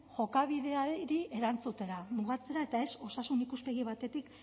jokabideari erantzutera mugatzera eta ez osasun ikuspegi batetik